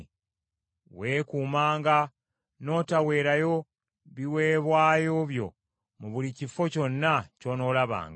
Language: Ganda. Weekuumanga n’otaweerayo biweebwayo by’omu buli kifo kyonna ky’onoolabanga.